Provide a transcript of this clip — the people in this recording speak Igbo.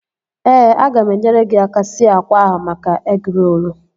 Ee, aga m enyere gị aka sie akwa ahụ maka egịrolu